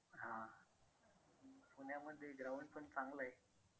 ते ground पण चांगलं आहे.